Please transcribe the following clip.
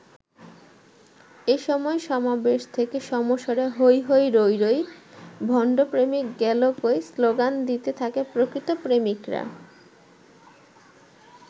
এ সময় সমাবেশ থেকে সমস্বরে ‘হৈ হৈ রৈ রৈ, ভণ্ড প্রেমিক গেলো কই’ স্লোগান দিতে থাকে প্রকৃত প্রেমিকরা।